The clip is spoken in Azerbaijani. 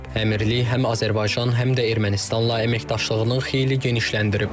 Əmirlik həm Azərbaycan, həm də Ermənistanla əməkdaşlığını xeyli genişləndirib.